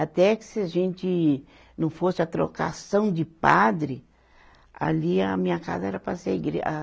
Até que se a gente não fosse a trocação de padre, ali a minha casa era para ser a igre a.